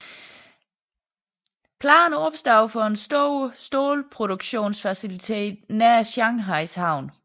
Planer opstod for en stor stålproduktionsfacilitet nær Shanghais havn